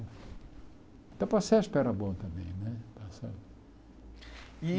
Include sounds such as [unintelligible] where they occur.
Até para Sesp era bom também né. [unintelligible] E